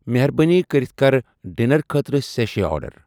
مہربٲنی کٔرِتھ کَر ڈِنر خٲطرٕ سشی آرڈر۔